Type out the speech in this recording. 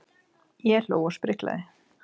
Ég hló og spriklaði.